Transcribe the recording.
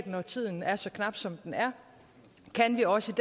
når tiden er så knap som den er kan vi også